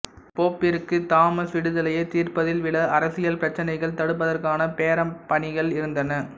போப்பிற்கு Thomas விடுதலையைத் தீர்ப்பதில் விட அரசியல் பிரச்சினைகள் தடுப்பதற்கான பெரம் பணிகள் இருந்தன